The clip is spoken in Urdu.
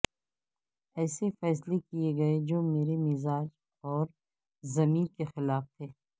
ایسے فیصلے کیے گئے جو میرے مزاج اور ضمیر کے خلاف تھے